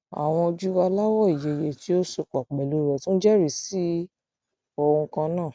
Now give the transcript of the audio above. àwọn ojú aláwọ ìyeyè tí ó so pọ pẹlú rẹ tún jẹrìí sí ohun kan náà